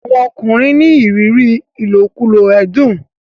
àwọn ọkùnrin ní ìrírí ilokulo ẹdun.